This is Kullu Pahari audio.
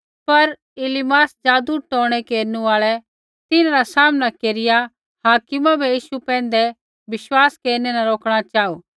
पर इलीमास जादूटोणै केरनु आल़ै किबैकि ज़ुणिरै नाँ रा मतलब ही जादूटोणै केरनु आल़ा सा तिन्हरा सामना केरिआ हाकिमा बै यीशु पैंधै विश्वास केरनै न रोकणा चाहू